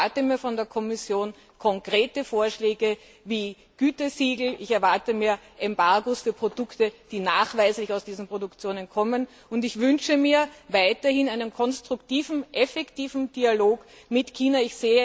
Ich erwarte mir von der Kommission konkrete Vorschläge wie Gütesiegel, ich erwarte Embargos für Produkte, die nachweislich aus diesen Produktionen kommen, und ich wünsche mir weiterhin einen konstruktiven, effektiven Dialog mit China.